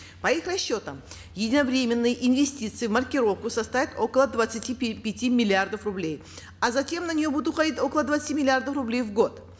по их расчетам единовременные инвестиции в маркировку составят около двадцати пяти миллиардов рублей а затем на нее будут уходить около двадцати миллиардов рублей в год